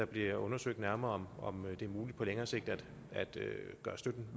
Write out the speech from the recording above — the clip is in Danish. bliver undersøgt nærmere om det er muligt på længere sigt at gøre støtten